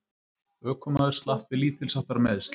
Ökumaður slapp með lítilsháttar meiðsl